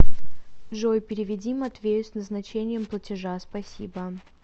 джой переведи матвею с назначением платежа спасибо